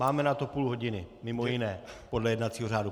Máme na to půl hodiny, mimo jiné, podle jednacího řádu.